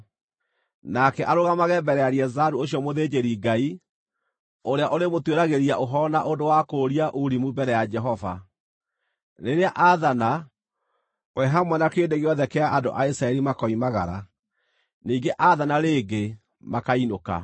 Nake arũgamage mbere ya Eleazaru ũcio mũthĩnjĩri-Ngai, ũrĩa ũrĩmũtuĩragĩria ũhoro na ũndũ wa kũũria Urimu mbere ya Jehova. Rĩrĩa aathana, hamwe na kĩrĩndĩ gĩothe kĩa andũ a Isiraeli makoimagara, ningĩ aathana rĩngĩ makainũka.”